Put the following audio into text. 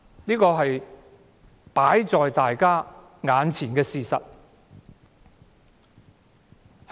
這是放在我們眼前的事實。